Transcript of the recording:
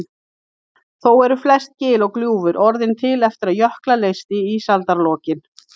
Þó eru flest gil og gljúfur orðin til eftir að jökla leysti í ísaldarlokin.